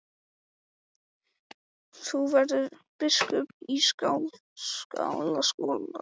Þú verður biskup í Skálholti, sagði faðir hans.